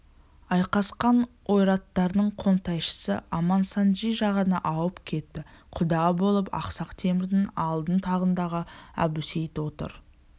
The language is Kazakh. айқасқан ойраттардың қонтайшысы амансанджи жағына ауып кетті құда болып ақсақ темірдің алтын тағындағы әбусейіт отыр